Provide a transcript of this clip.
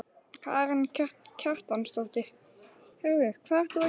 Karen Kjartansdóttir: Heyrðu hvað ert þú að gera hér?